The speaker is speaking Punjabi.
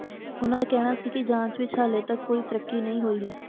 ਉਨ੍ਹਾਂ ਦਾ ਕਹਿਣਾ ਸੀ ਕਿ ਜਾਂਚ ਵਿਚ ਹਾਲੇ ਤਕ ਕੋਈ ਤਰੱਕੀ ਨਹੀਂ ਹੋਈ ਹੈ